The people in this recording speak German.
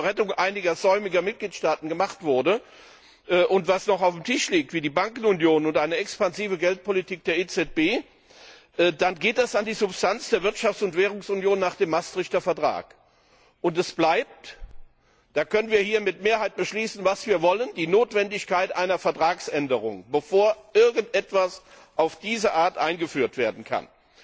zur Rettung einiger säumiger Mitgliedstaaten gemacht wurde und was noch auf dem Tisch liegt, wie die Bankenunion oder eine expansive Geldpolitik der EZB, dann geht das an die Substanz der Wirtschafts und Währungsunion nach dem Vertrag von Maastricht. Und es bleibt da können wir hier mit Mehrheit beschließen, was wir wollen die Notwendigkeit einer Vertragsänderung, bevor irgendetwas auf diese Art eingeführt werden kann.